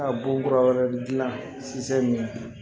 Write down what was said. A bon kura wɛrɛ dilan